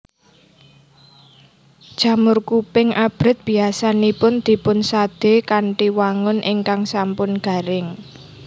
Jamur kuping abrit biyasanipun dipunsadé kanthi wangun ingkang sampun garing